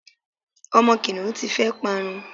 àwọn kiniun ti fe parun